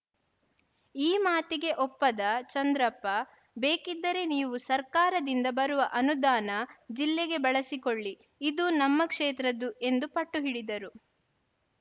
ಈ ಮಾತಿಗೆ ಒಪ್ಪದ ಚಂದ್ರಪ್ಪ ಬೇಕಿದ್ದರೆ ನೀವು ಸರ್ಕಾರದಿಂದ ಬರುವ ಅನುದಾನ ಜಿಲ್ಲೆಗೆ ಬಳಸಿಕೊಳ್ಳಿ ಇದು ನಮ್ಮ ಕ್ಷೇತ್ರದ್ದು ಎಂದು ಪಟ್ಟು ಹಿಡಿದರು